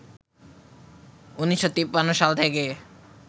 ১৯৫৩ সাল থেকে